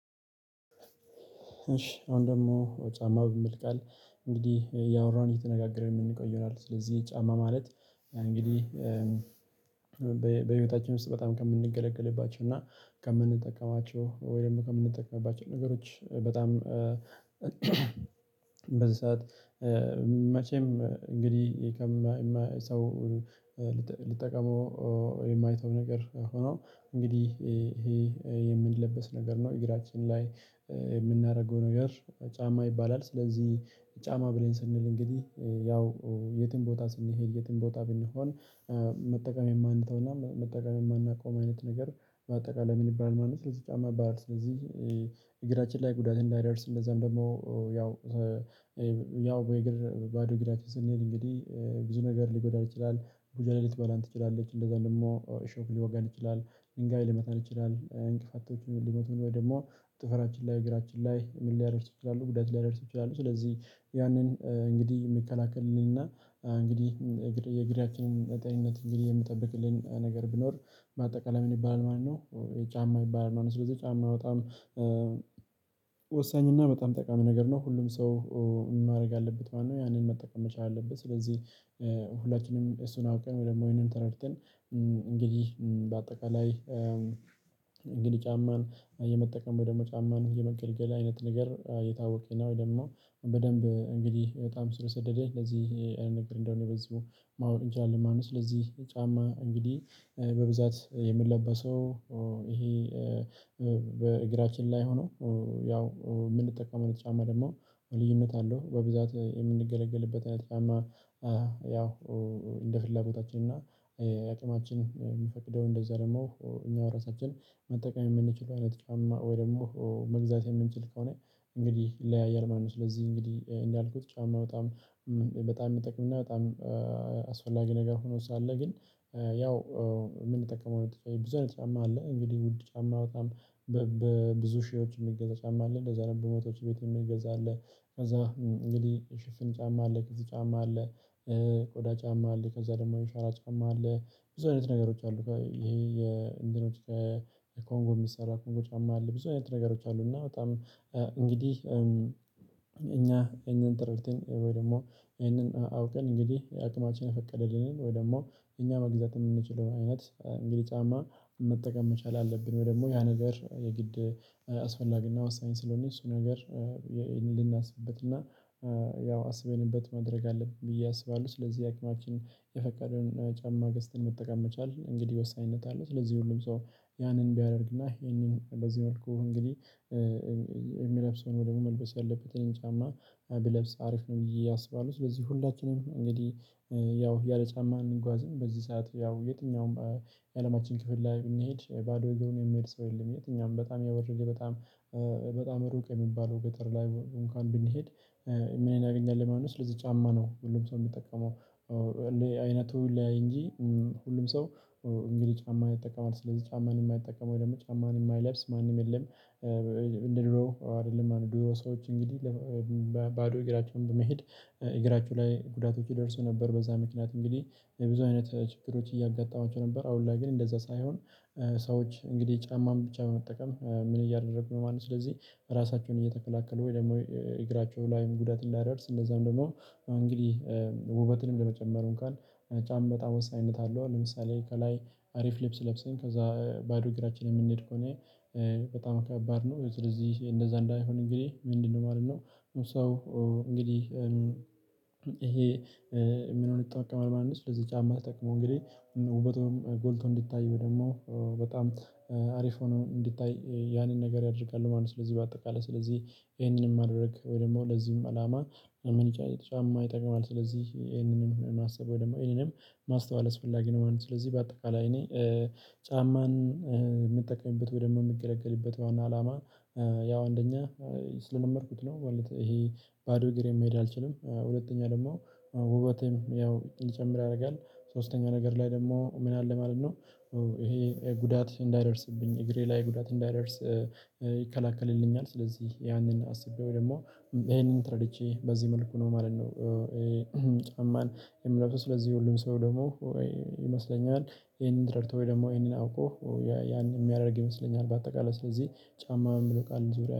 እሺ አሁን ደግሞ ጫማ ብሚል ቃል እንግዲህ እያወራን እየተነጋገርን የምንቆይ ይሆናል። ስለዚህ ጫማ ማለት እንግዲህ በህይወታችን ውስጥ በጣም ከምንገለገልባቸው እና ከምንጠቀማቸው ወይም ከምንጠቀምባቸው ነገሮች በጣም በዛት መቼም እንግዲህ ሰው ልጠቀመው የማይተው ነገር ሆኖ እንግዲህ ይሄ የሚለበስ ነገር ነው እግራችን ላይ የምናደርገው ነገር ጫማ ይባላል። ስለዚህ ጫማ ብለን ስንል እንግዲህ ያው የትም ቦታ ስንሄድ የትም ቦታ ብንሆን መጠቀም የማንተወውና መጠቀም የማናቆመው አይነት ነገር በአጠቃላይ ምን ይባላል ማለት ነው። ስለዚህ ጫማ ይባላል ስለዚህ እግራችን ላይ ጉዳት እንዳይደርስ እንደዛም ደግሞ ያው ያው ወይ እግር ባዶ እግራችንን ስንሄድ እንግዲህ ብዙ ነገር ሊጎዳን ይችላል ሙጅሌ ሊትበላን ትችላለች እንደዛም ደግሞ እሾክ ሊወጋን ይችላል ድንጋይ ሊመታን ይችላል። እንቅፋቶችን ሊመቱን ወይ ደግሞ ጥፍራችን ላይ እግራችን ላይ ምን ሊያደርሱ ይችላሉ ጉዳት ሊያደርሱ ይችላሉ። ስለዚህ ያንን እንግዲህ የሚከላከልልንና እንግዲህ እግራችንን በጤንነት እንግዲህ የምጠብቅልን ነገር ቢኖር በአጠቃላይ ምን ይባላል ማለት ነው ጫማ ይባላል። ስለዚህ ጫማ በጣም ወሳኝ እና በጣም ጠቃሚ ነገር ነው ሁሉም ሰው ማድረግ አለበት ማለት ነው። ያንን መጠቀም መቻል አለበት ስለዚህ ሁላችንም እሱን አውቀን ወይ ደግሞ ይሄንን ተረድተን በአጠቃላይ እንግዲህ ጫማን የመጠቀም ወይ ደግሞ ጫማን የመገልገል አይነት ነገር የታወቀ ነው። እልና በደንብ እንግዲህ በጣም ስር የሰደደ ለዚህ አይነት ነገር እንደሆነ በዚሁ ማወቅ እንችላለን ማለት ነው። ስለዚህ ጫማ እንግዲህ በብዛት የሚለበሰው ይሄ በእግራችን ላይ ሆኖ ያው የምንጠቀመው ጫማ ደግሞ ልዩነት አለው። በብዛት የምንገለገልበት አይነት ጫማ ያው እንደ ፍላጎታችን እና የአቅማችን የምፈቅደውን እንደዛ ደግሞ እኛው ራሳችን መጠቀም የምንችለው አይነት ጫማ ወይ ደግሞ መግዛት የምንችል ከሆነ እንግዲህ ይለያያል ማለት ነው። ስለዚህ እንግዲህ እንዳልኩት ጫማ በጣም በጣም የሚጠቅምና በጣም አስፈላጊ ነገር ሆኖ ሳለ ግን ያው የምንጠቀመው ብዙ አይነት ጫማ አለ። እንግዲህ ውድ ጫማ በጣም በብዙ ሺዎች የሚገዛ ጫማ አለ እንደዛ ነው። በመቶዎች ቤት የሚገዛ አለ ከዛ እንግዲህ ሽፍን ጫማ አለ ከዚህ ጫማ አለ ቆዳ ጫማ አለ። ከዛ ደግሞ ሸራ ጫማ አለ ብዙ አይነት ነገሮች አሉ ይሄ የእንዲኖር ከኮንጎ የሚሰራ ኮንጎ ጫማ አለ ብዙ አይነት ነገሮች አሉ። እና በጣም እንግዲህ እኛ ይሄንን ተረድተን ወይ ደግሞ ይሄንን አውቀን እንግዲህ አቅማችን የፈቀደልንን ወይ ደግሞ እኛ መግዛት የምንችለው አይነት እንግዲህ ጫማ መጠቀም መቻል አለብን። ወይ ደግሞ ያ ነገር የግድ አስፈላጊና ዋሳኝ ስለሆነ እሱ ነገር ልናስብበትና ያው አስበንበት ማድረግ አለብን ብዬ አስባለሁ። ስለዚህ የአቅማችን የፈቃደውን ጫማ ገዝተን መጠቀም መቻል እንግዲህ ወሳኝነት አለው። ስለዚህ ሁሉም ሰው ያንን ቢያደርግና ይሄንን በዚህ መልኩ እንግዲህ እሚለብስ ወይ ደግሞ መልበስ ያለበትን ጫማ ቢለብስ አሪፍ ነው ብዬ አስባለሁ። ስለዚህ ሁላችንም እንግዲህ ያው ያለ ጫማ አንጓዝም በዚህ ሰዓት ያው የትኛውም የአለማችን ክፍል ላይ ብንሄድ ባዶ እግርሩን የሚሄድ ሰው የለም። የትኛውም በጣም የወርደ በጣም በጣም ሩቅ የሚባለው ገጠር ላይ እንኳን ብንሄድ ምን እናገኛለን ማለት ነው። ስለዚህ ጫማ ነው ሁሉም ሰው የሚጠቀመው እንደ አይነቱ ይለያይ እንጂ ሁሉም ሰው እንግዲህ ጫማን ይጠቀማል። ስለዚህ ጫማን የማይጠቀም ወይ ደግሞ ጫማን የማይለብስ ማንም የለም። እንደ ድሮው አይደለም የድሮ ሰዎች እንግዲህ ባዶ እግራቸውን በመሄድ እግራቸው ላይ ጉዳቶች ይደርሱ ነበር በዛ ምክንያት እንግዲህ የብዙ አይነት ችግሮች እያጋጠማቸው ነበር። አሁን ላይ ግን እንደዛ ሳይሆን ሰዎች እንግዲህ ጫማን ብቻ በመጠቀም ምን እያደረጉ ነው ማለት ነው። ስለዚህ ራሳቸውን እየተከላከሉ ወይ ደግሞ እግራቸው ላይም ጉዳት እንዳያደርስ እንደዛም ደግሞ እንግዲህ ውበትንም ለመጨመር እንኳን ጫማ በጣም ወሳኝነት አለው። ለምሳሌ ከላይ አሪፍ ልብስ ለብሰን ከዛ ባዶ እግራችን የምንሄድ ከሆነ በጣም ከባድ ነው። ስለዚህ እንደዛ እንዳይሆን እንግዲህ ምንድነው ማለት ነው? ሰው እንግዲህ ምኑን ይጠቀማል ማለት ነው? ስለዚህ ጫማ ተጠቅሞ እንግዲህ ውበቱም ጎልቶ እንዲታይ ወይ ደግሞ በጣም አሪፍ ሆኖ እንዲታይ ያንን ነገር ያደርጋሉ ማለት ነው። ስለዚህ በአጠቃላይ ስለዚህ ይሄንን ማድረግ ወይ ደግሞ ለዚህም አላማ ምን ይቻላል ጫማ ይጠቅማል። ስለዚህ ይሄንንም ማሰብ ወይ ደግሞ ይሄንንም ማስተዋል አስፈላጊ ነው ማለት ነው። ስለዚህ በአጠቃላይ እኔ ጫማን የምጠቀምበት ወይ ደሞ እምገለገልበት ዋና አላማ ያው አንደኛ ስለለመድኩት ነው። ማለት ይሄ ባዶ እግሬን መሄድ አልችልም። ሁለተኛ ደግሞ ውበቴም ያው እንዲጨምር ያደርጋል። ሶስተኛው ነገር ላይ ደግሞ ምን አለ ማለት ነው? ይሄ ጉዳት እንዳይደርስብኝ እግሬ ላይ ጉዳት እንዳይደርስ ይከለክልልኛል። ስለዚህ ያንን አስቤ ወይ ደግሞ ይሄንን ተረድቼ በዚህ መልኩ ነው ማለት ነው። ጫማን የሚለብሰው ስለዚህ ሁሉም ሰው ይመስለኛል ይሄንን ተረድቶ ወይ ደግሞ ይሄንን አውቆ ያን የሚያደርግ ይመስለኛል። በአጠቃላይ ስለዚህ ጫማ የምለው ቃል ዙሪያ